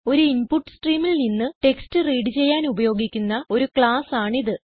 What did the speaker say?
ഒരു ഇൻപുട്ട് streamൽ നിന്ന് ടെക്സ്റ്റ് റീഡ് ചെയ്യാൻ ഉപയോഗിക്കുന്ന ഒരു ക്ലാസ് ആണ് ഇത്